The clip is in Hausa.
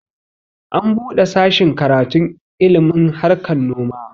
An buɗe sashin karatun ilmin harkan noma